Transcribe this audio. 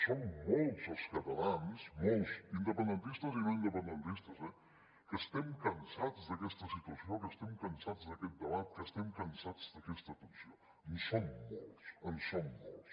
som molts els catalans molts independentistes i no independentistes eh que estem cansats d’aquesta situació que estem cansats d’aquest debat que estem cansats d’aquesta tensió en som molts en som molts